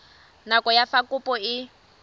nako ya fa kopo e